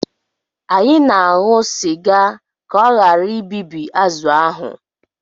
Anyị na-aṅụ sịga ka ọ ghara ibibi azụ̀ ahụ